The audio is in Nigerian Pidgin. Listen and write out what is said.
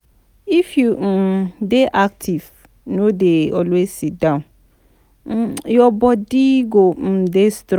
If you um dey active no dey always sit down, um your body go um dey strong